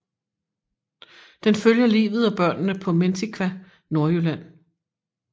Den følger livet og børnene på Mentiqa Nordjylland